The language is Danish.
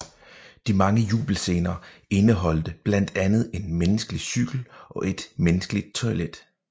De mange jubelscener indeholdte blandt andet en menneskelig cykel og et menneskeligt toilet